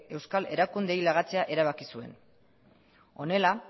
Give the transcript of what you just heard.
euskal erakundeei lagatzea erabaki zuen honela